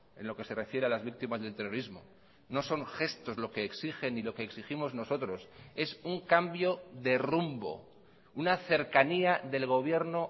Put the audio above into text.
en lo que se refiere a las víctimas del terrorismo no son gestos lo que exigen y lo que exigimos nosotros es un cambio de rumbo una cercanía del gobierno